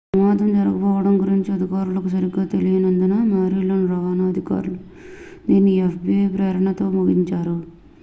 ప్రమాదం జరగబోవడం గురించి అధికారులకు సరిగా తెలియనందున maryland రవాణా అధికారులు దీనిని fbi ప్రేరణతోనే ముగించారు